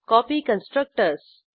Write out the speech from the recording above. copy constructors